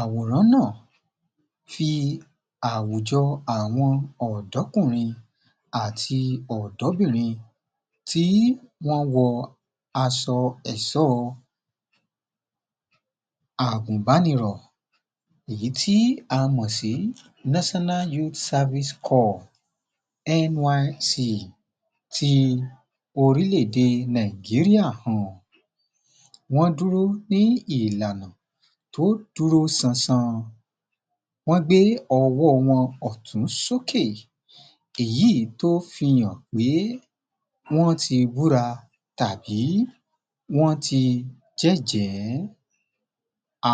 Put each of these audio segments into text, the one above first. Àwòrán náà, fi àwùjọ àwọn ọ̀dọ́kùnrin àti ọ̀dọ́bìnrin tí wọ́n wọ aṣọ ẹ̀ṣọ́ agùnbánirọ̀ èyí tí a mọ̀ sí national youth service corps nysc ti orílẹ̀ èdè Nàìjíríà hàn. Wọ́n dúró ní ìlànà tó dúró ṣanṣan, wọ́n gbé ọwọ́ wọn ọ̀tún sókè, èyí tó fi hàn pé wọ́n ti búra tàbí wọ́n ti jẹ́jẹ̀ẹ́.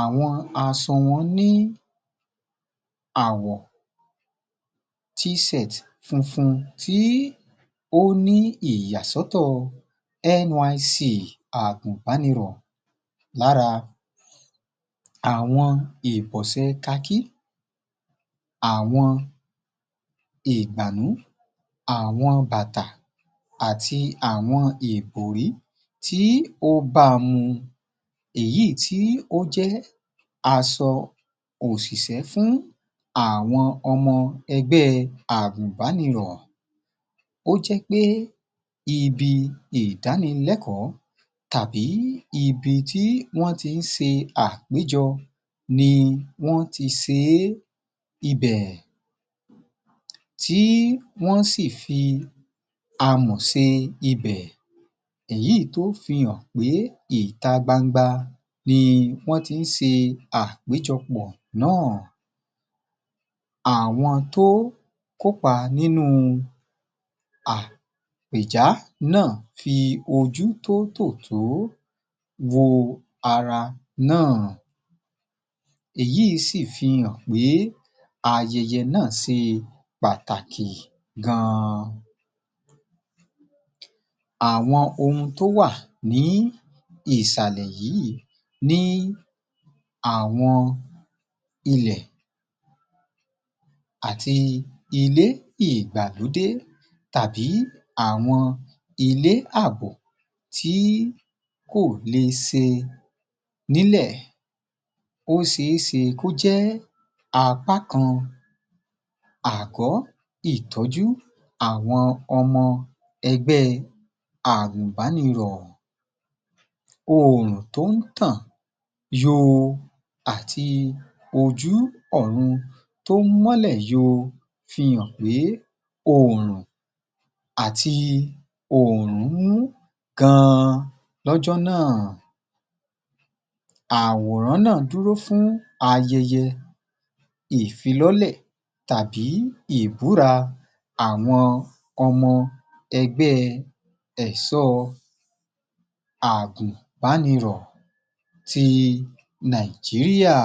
Àwọn aṣọ wọ́n ní àwọ̀ t-shirt funfun tí ó ní ìyàsọ́tọ̀ Nyc agùbánirọ̀ lára àwọn ìbọ̀sẹ̀ kakí, àwọn ìgbànú, àwọn bàtà àti àwọn ìbòrí tí ó báa mu. Èyí tí ó jẹ́ aṣọ òṣìṣẹ́ fún àwọn ọmọ ẹgbẹ́ agùbánirọ̀. Ó jẹ́ pé ibi ìdánilẹ́kọ̀ọ́ tàbí ibi tí wọ́n ti ń ṣe àpéjọ ni wọ́n ti ṣe é, ibẹ̀ tí wọ́n sì fi amọ̀ ṣe ibẹ̀. Èyí tó fi hàn pé ìta gbangba ni wọ́n ti ń ṣe àpéjọpọ̀ náà. Àwọn tó kópa nínú àpèjá náà fi ojú tótòtó wo ara náà. Èyí sì fi hàn pé ayẹyẹ náà ṣe pàtàkì gan an. Àwọn oun tó wà ní ìsàlẹ̀ yìí ni àwọn ilẹ̀ àti ilé ìgbàlódé tàbí àwọn ilé àbò tí kò lè ṣe nílẹ̀ ó ṣeé ṣe kó jẹ́ apá kan àgọ́ ìtọ́jú àwọn ọmọ egbẹ́ agùbánirọ̀. Oòrùn tó ń tàn yoo àti ojú ọ̀run tó ń mọ́lẹ̀ yoo fi hàn pé oòrùn àti oòrùn ń mú gan an lọ́jọ́ náà. Àwòrán náà dúró fún ayẹyẹ ìfilọlẹ̀ tàbí ìbúra àwọn ọmọ ẹgbẹ́ ẹ̀ṣọ́ agùbánirọ̀ ti Nàìjíríà